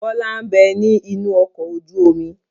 Bọlá ń bẹ ní inú ọkọ̀ ojú omi.